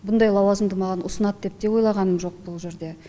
бұндай лауазымды маған ұсынады деп те ойлағаным жоқ бұл жерде